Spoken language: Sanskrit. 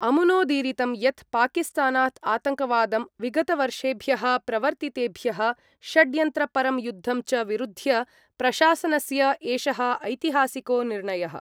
अमुनोदीरितं यत् पाकिस्तानात् आतङ्कवादं, विगतवर्षेभ्यः प्रवर्तितेभ्यः षड्यन्त्रपरं युद्धं च विरुध्य प्रशासनस्य एषः ऐतिहासिको निर्णयः।